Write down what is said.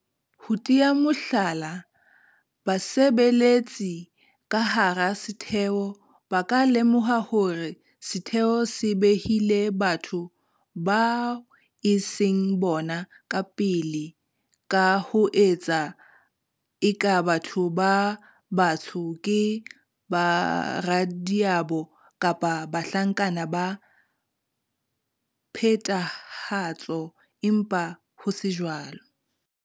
Ho tea mohlala, basebeletsi ka hara setheo ba ka lemoha hore setheo se behile batho bao e seng bona ka pele ka ho etsa eka batho ba batsho ke baradiabo kapa bahlankana ba phethahatso empa ho se jwalo,